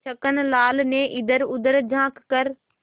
छक्कन लाल ने इधरउधर झॉँक कर